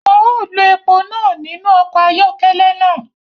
Wọn ọ lo èpo náà nínú ọkọ ayọkẹlẹ náà